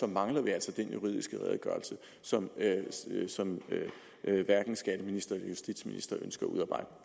mangler vi altså den juridiske redegørelse som som hverken skatteministeren eller justitsministeren ønsker at udarbejde